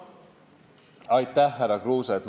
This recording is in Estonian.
Aitäh, härra Kruuse!